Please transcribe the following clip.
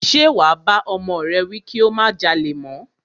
Ṣe wà bá ọmọ rẹ wí kí ó má jalè mọ́?